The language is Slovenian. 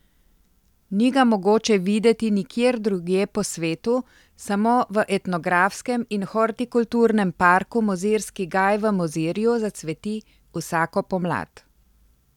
Ni ga mogoče videti nikjer drugje po svetu, samo v etnografskem in hortikulturnem parku Mozirski gaj v Mozirju zacveti vsako pomlad.